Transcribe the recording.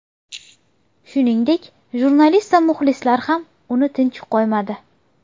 Shuningdek, jurnalist va muxlislar ham uni tinch qo‘ymadi.